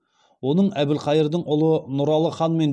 оның әбілқайырдың ұлы нұралы ханмен